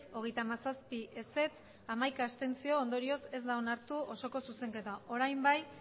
hogeita hamazazpi contra hamaika abstentzio ondorioz ez da onartu osoko zuzenketa orain bai